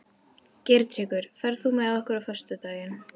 Geirtryggur, ferð þú með okkur á föstudaginn?